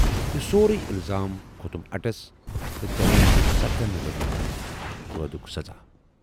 یہِ سورُے اِلزام کھوتُم اٹس تہٕ ججن دٮُ۪ت ستن ؤرۍیَن قٲدُک سزا۔